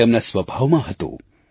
તે તેમના સ્વભાવમાં હતું